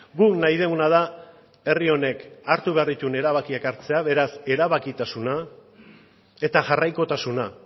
guk nahi duguna da herri honek hartu behar dituen erabakiak hartzea beraz erabakitasuna eta jarraikotasuna